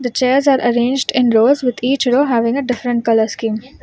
The chairs are arranged in rows with each row having different color scheme.